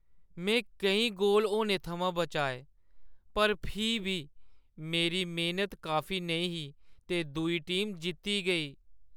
में केईं गोल होने थमां बचाए पर फ्ही बी, मेरी मेह्‌नत काफी नेईं ही ते दूई टीम जित्ती गेई।